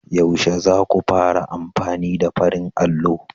Yaushe za ku fara amfani da farin allo?